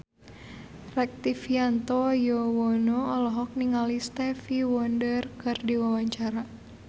Rektivianto Yoewono olohok ningali Stevie Wonder keur diwawancara